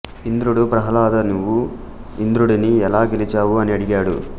ఇంద్రుడు ప్రహ్లాదా నీవు ఇంద్రుడిని ఎలా గెలిచావు అని అడిగాడు